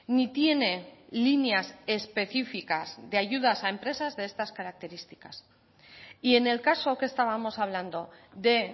ni tiene líneas específicas de ayudas a empresas de estas características y en el caso que estábamos hablando de